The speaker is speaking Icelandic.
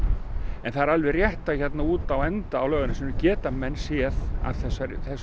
en það er alveg rétt að hérna út á enda á Laugarnesinu geta menn séð að þessu